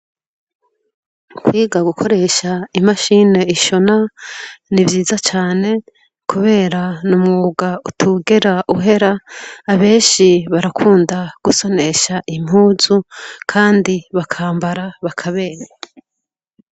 Kwiga gukoresha imashini ishona, ni vyiza cane kubera n'umw, uga utigera uhera. Abenshi barakunda gusonesha impuzu kandi bakambara bakaberwa.